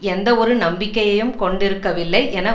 எந்தவொரு நம்பிக்கையையும் கொண்டிருக்கவில்லை என